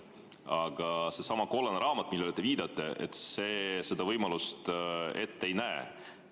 Aga seesama kollane raamat, millele te viitate, seda võimalust ette ei näe.